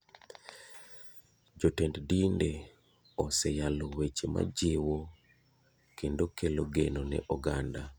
Jotend dinde oseyalo weche majiwo kendo kelo geno ne oganda.